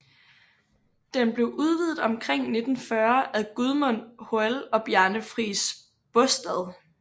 Den blev udvidet omkring 1940 af Gudmund Hoel og Bjarne Friis Baastad